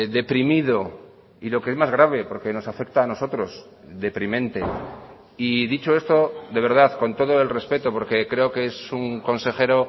deprimido y lo que es más grave porque nos afecta a nosotros deprimente y dicho esto de verdad con todo el respeto porque creo que es un consejero